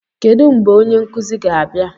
Kedu mgbe onye nkuzi ga-abịa?